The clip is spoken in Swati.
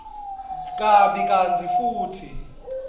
kabi kantsi futsi